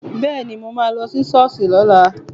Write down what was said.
Bẹ́ẹ̀ni, mà á lọ sí ṣọ́ọ̀ṣì lọ́la